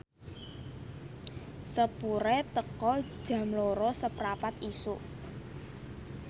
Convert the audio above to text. sepure teka Jam loro seprapat isuk